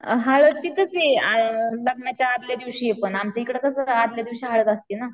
हळद तीथचे आ लग्नाच्या आदल्या दिवशीये पण, आमच्याएकाद कास असत आदल्या दिवशी हळद असती ना.